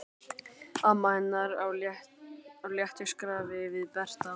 Amma hennar á léttu skrafi við Berta.